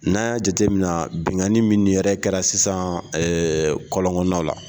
N'an y'a jate mina binkani min yɛrɛ kɛra sisan kɔlɔn kɔnɔnaw la